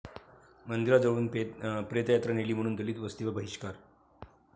मंदिराजवळून प्रेतयात्रा नेली म्हणून दलित वस्तीवर बहिष्कार